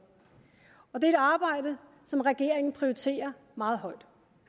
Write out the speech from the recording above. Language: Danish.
og det er et arbejde som regeringen prioriterer meget højt